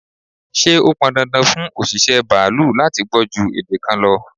Ṣé ó pọn dandan fún òṣìṣẹ́ baalú láti gbọ́ ju èdè kan lọ?